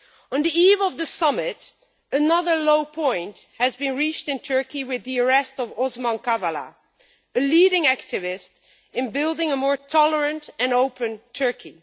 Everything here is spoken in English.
On the eve of the Summit, another low point was reached in Turkey with the arrest of Osman Kavala, a leading activist in building a more tolerant and open Turkey.